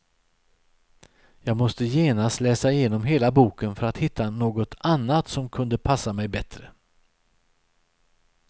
Jag måste genast läsa igenom hela boken för att hitta något annat som kunde passa mig bättre.